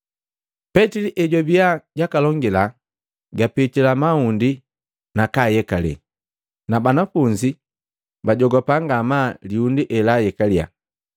Petili ejwabiya jakalongila, gapitila mahundi nakaayekale, na banafunzi bajogapa ngamaa liundi elaayekaliya.